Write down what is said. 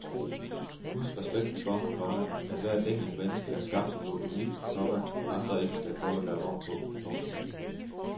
Husk respekten for, komma at hvert enkelt menneske er skabt som noget unikt, komma andre ikke skal prøve at lave om på. punktum